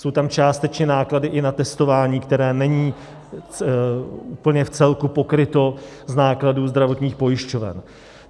Jsou tam částečně i náklady na testování, které není úplně v celku pokryto z nákladů zdravotních pojišťoven.